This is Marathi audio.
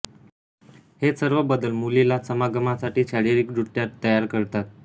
हे सर्व बदल मुलीला समागमासाठी शारीरिकदृष्ट्या तयार करतात